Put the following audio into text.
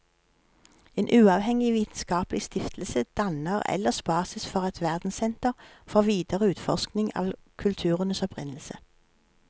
En uavhengig vitenskapelig stiftelse danner ellers basis for et verdenssenter for videre utforskning av kulturenes opprinnelse.